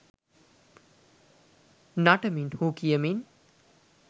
නටමින් හූ කියමින්